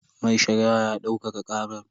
Mai shari'ar ya daukaka karar.